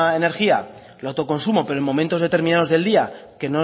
energía de autoconsumo pero en momentos determinados del día que